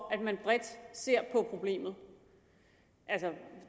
at man bredt ser på problemet altså